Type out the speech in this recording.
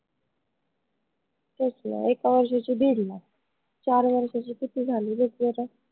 तेच न एका वर्षाची दीड lakh चार वर्षाची किती झाली बघ बर?